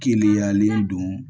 Keleyalen don